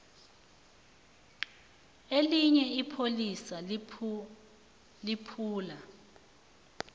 elinye ipholisa liphula